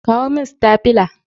Kawo min stafila!